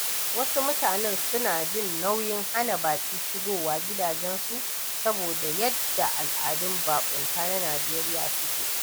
Wasu mutane suna jin nauyin hana baƙi shigowa gidajensu saboda yadda al’adun baƙunta na Najeriya suke.